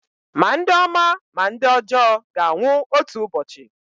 ma ndị ọma ma ndị ọjọọ ga-anwụ otu ụbọchị